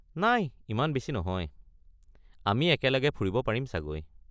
নাই ইমান বেছি নহয়। আমি একেলগে ফুৰিব পাৰিম চাগৈ।